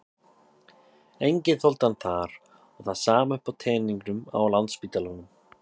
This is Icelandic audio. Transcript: Enginn þoldi hann þar og það er sama uppi á teningnum á Landspítalanum.